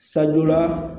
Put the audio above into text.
Sadɔ la